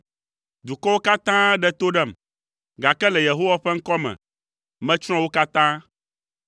Dukɔwo katã ɖe to ɖem, gake le Yehowa ƒe ŋkɔ me, metsrɔ̃ wo katã.